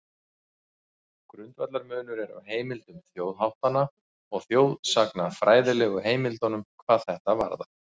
Grundvallarmunur er á heimildum þjóðháttanna og þjóðsagnafræðilegu heimildunum hvað þetta varðar.